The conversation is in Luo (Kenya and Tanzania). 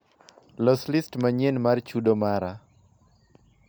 loso list manyien mar chudo mara